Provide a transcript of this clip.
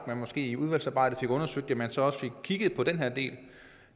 man måske i udvalgsarbejdet får undersøgt det man så også fik kigget på den her del